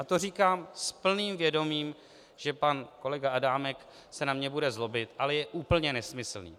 A to říkám s úplným vědomím, že pan kolega Adámek se na mě bude zlobit, ale je úplně nesmyslný.